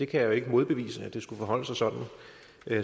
kan jo ikke modbevise at det skulle forholde sig sådan